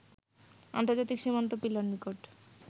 আন্তর্জাতিক সীমান্ত পিলার নিকট